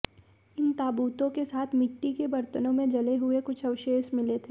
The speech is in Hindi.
इन ताबूतों के साथ मिट्टी के बर्तनों में जले हुए कुछ अवशेष मिले थे